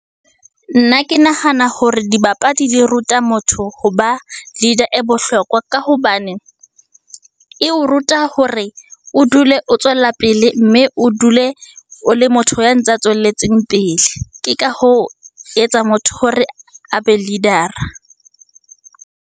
Nna ke nahana hore dibapadi di ruta motho hoba leader e bohlokwa, ka hobane e o ruta hore o dule o tswella pele, mme o dule o le motho ya ntse a tswelletseng pele. Ke ka hoo, etsa motho hore a be leader-a.